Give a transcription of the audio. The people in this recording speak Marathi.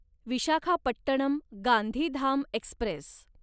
विशाखापट्टणम गांधीधाम एक्स्प्रेस